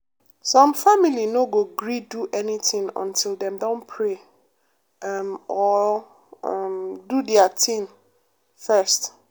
some family no go gree do anything until dem don pray um or do um their thing first. first.